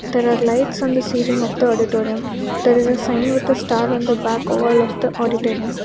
There are lights on the ceiling of the auditorium there is a sign with the star on the back over of the auditorium.